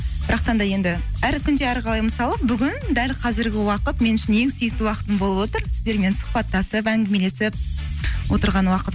да енді әр күнде әр қалай мысалы бүгін дәл қазіргі уақыт мен үшін сүйікті уақытым болып отыр сіздермен сұхбаттасып әңгімелесіп отырған уақыт